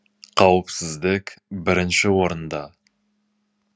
қауіпсіздік бірінші орында